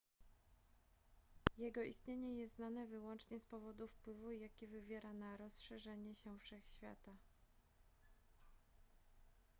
jego istnienie jest znane wyłącznie z powodu wpływu jaki wywiera na rozszerzanie się wszechświata